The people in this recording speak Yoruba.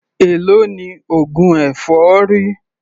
Èló ni oògùn èfọ́rí?